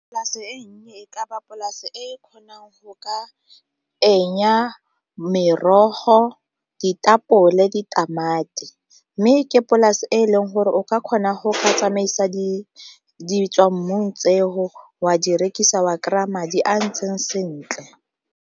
Polase e nnye e ka ba polase e kgonang go ka merogo, ditapole, ditamati. Mme ke polase e leng gore o ka kgona go tsamaisa di ditswammung tseo wa di rekisa wa kry-a madi a a ntseng sentle.